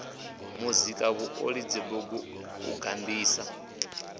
muzika vhuoli dzibugu u gandisa